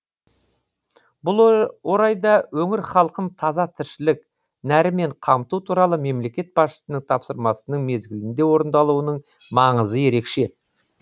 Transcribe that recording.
бұл орайда өңір халқын таза тіршілік нәрімен қамту туралы мемлекет басшысының тапсырмасының мезгілінде орындалуының маңызы ерекше